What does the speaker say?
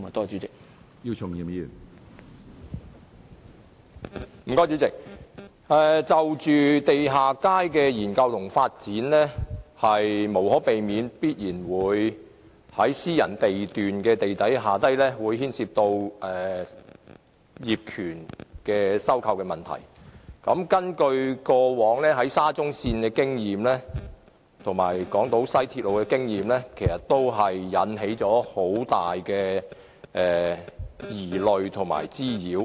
主席，地下街的研究和發展，會無可避免地涉及私人地段地底下的業權收購問題，從過往興建沙中線和西港島線的經驗，可發現往往會引起很大的疑慮和滋擾。